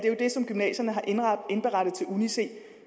er det som gymnasiet har indberettet til uni c